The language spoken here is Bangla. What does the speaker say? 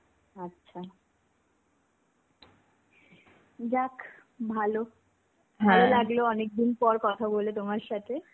আচ্ছা.যাক, ভালো. ভালো লাগলো অনেকদিন পর কথা বলে তোমার সাথে.